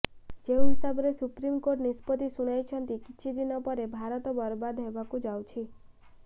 ଯେଉଁ ହିସାବରେ supreme court ନିଷ୍ପତି ଶୁଣାଇଛନ୍ତି କିଛି ଦିନ ପରେ ଭାରତ ବର୍ବାଦ୍ ହେବାକୁ ଯାଉଛି